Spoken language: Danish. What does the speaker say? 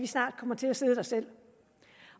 snart kommer til at sidde der selv